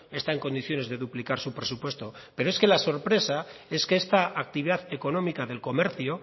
está en condiciones de duplicar su presupuesto pero es que la sorpresa es que esta actividad económica del comercio